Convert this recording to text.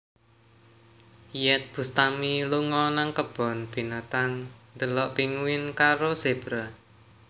Iyeth Bustami lunga nang kebon binatang ndelok pinguin karo zebra